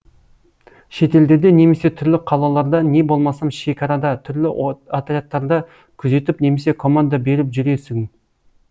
шетелдерде немесе түрлі қалаларда не болмасам шекарада түрлі отрядтарда күзетіп немесе команда беріп жүресің